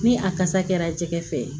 Ni a kasa kɛra jɛgɛ fɛ